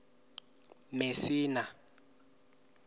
mesina